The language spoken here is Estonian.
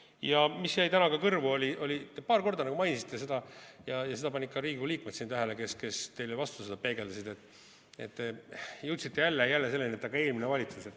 Ja mis jäi täna ka kõrvu, te paar korda nagu mainisite seda ja seda panid ka Riigikogu liikmed tähele, kes teile vastu seda peegeldasid: te jõudsite jälle selleni, et "aga eelmine valitsus".